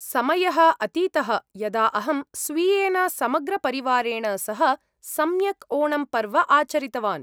समयः अतीतः यदा अहं स्वीयेन समग्रपरिवारेण सह सम्यक् ओणम् पर्व आचरितवान्।